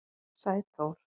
Sæþór